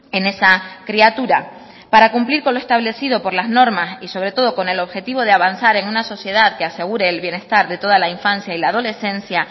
en esa criatura para cumplir con lo establecido por las normas y sobre todo con el objetivo de avanzar en una sociedad que asegure el bienestar de toda la infancia y la adolescencia